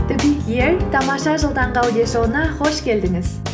тамаша жыл таңғы аудиошоуына қош келдіңіз